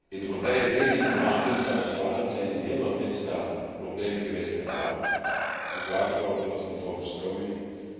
In de voorbije weken, maanden, zelfs jaren, zijn in heel wat lidstaten problemen geweest met water, met wateroverlast, met overstromingen.